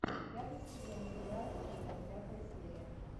пятый сезон сериал киллер пятая серия